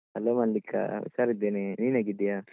Hello Mallika ಹುಷಾರಿದ್ದೇನೆ, ನೀನ್ ಹೇಗಿದ್ದೀಯಾ?